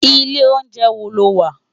Ilé óunjè wó ló wà?